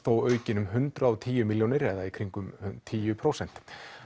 aukin um hundrað og tíu milljónir eða í kringum tíu prósent